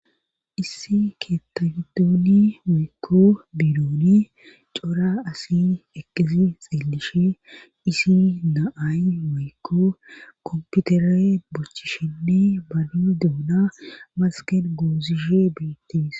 issi keettagidooni woykko bironi cora asi asi eqqidi xellishe issi na7ay woykko komputere bochishinni babi doona masken goozishe beittis